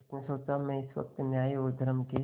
उसने सोचा मैं इस वक्त न्याय और धर्म के